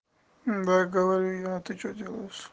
да говорю я а ты что делаешь